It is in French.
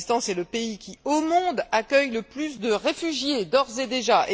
Le Pakistan, c'est le pays qui, au monde, accueille le plus de réfugiés, d'ores et déjà.